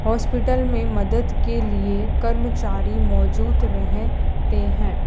Hospital मे मदद के लिए कर्मचारी मौजूद रहे ते है।